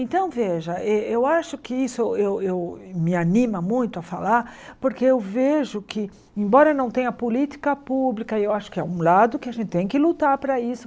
Então, veja, eu eu acho que isso eu eu me anima muito a falar, porque eu vejo que, embora não tenha política pública, eu acho que é um lado que a gente tem que lutar para isso.